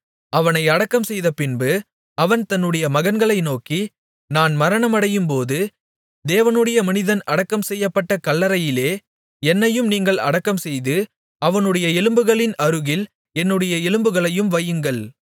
அவனை அடக்கம்செய்த பின்பு அவன் தன்னுடைய மகன்களை நோக்கி நான் மரணமடையும்போது தேவனுடைய மனிதன் அடக்கம்செய்யப்பட்ட கல்லறையிலே என்னையும் நீங்கள் அடக்கம்செய்து அவனுடைய எலும்புகளின் அருகில் என்னுடைய எலும்புகளையும் வையுங்கள்